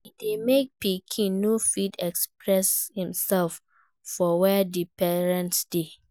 E de make pikin no fit experess imself for where di parents de